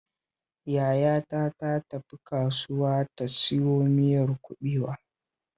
Yayata ta tafi kasuwa ta siyo miyar kuɓewa